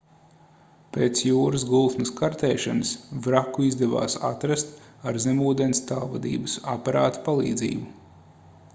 pēc jūras gultnes kartēšanas vraku izdevās atrast ar zemūdens tālvadības aparāta palīdzību